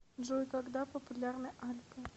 джой когда популярны альпы